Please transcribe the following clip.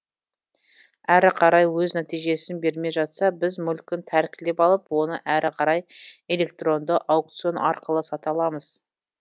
әрі қарай өз нәтижесін бермей жатса біз мүлкін тәркілеп алып оны әрі қарай электронды аукцион арқылы сата аламыз